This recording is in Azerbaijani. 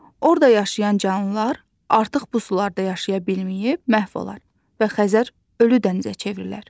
Orda yaşayan canlılar artıq bu sularda yaşaya bilməyib məhv olarlar və Xəzər ölü dənizə çevrilər.